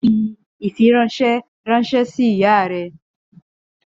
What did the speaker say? Fi ifiranṣẹ ranṣẹ si iya rẹ!